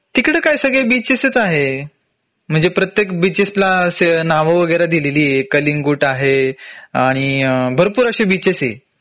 तिकडं काय सगळे बीचेस च आहे म्हंजे प्रत्येक बीचेस ला नाव वगैरे दिलेली आहेत कालिंगूट आहे अ भरपूर अशे बीचेस आहे